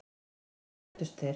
Síðan kvöddust þeir.